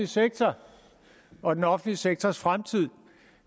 sektor og den offentlige sektors fremtid